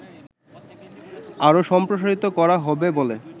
আরো সম্প্রসারিত করা হবে বলে